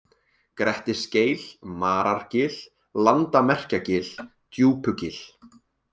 Grettisgeil, Marargil, Landamerkjagil, Djúpugil